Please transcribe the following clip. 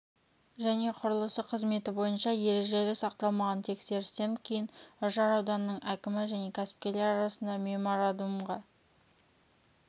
және құрылыс қызметі бойынша ережелер сақталмаған тексерістен кейін үржар ауданының әкімі мен кәсіпкерлер арасында меморандумға